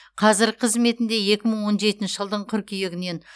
қазір қызметінде екі мың он жетінші жылдың қыркүйегінен